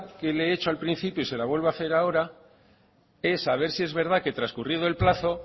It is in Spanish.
que le he hecho al principio y se la vuelvo a hacer ahora es a ver si es verdad que transcurrido el plazo